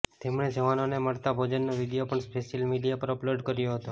તેમણે જવાનોને મળતા ભોજનનો વીડિયો પણ સોશિયલ મીડિયા પર અપલોડ કર્યો હતો